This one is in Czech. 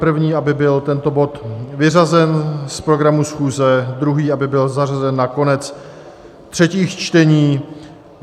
První, aby byl tento bod vyřazen z programu schůze, druhý, aby byl zařazen na konec třetích čtení.